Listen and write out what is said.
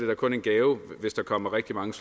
da kun en gave hvis der kommer rigtig mange